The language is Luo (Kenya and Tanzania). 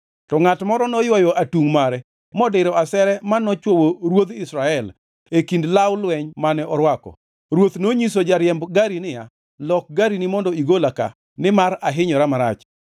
To ngʼat moro noywayo atungʼ mare modiro asere ma nochwowo ruodh Israel e kind law lweny mane orwako. Ruoth nonyiso jariemb gari niya, “Lok garini mondo igola ka, nimar ahinyora marach.”